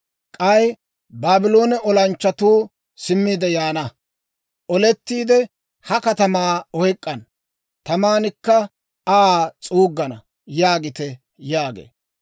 K'ay Baabloone olanchchatuu simmiide yaana; olettiide, ha katamaa oyk'k'ana; tamankka Aa s'uuggana› yaagite» yaagee.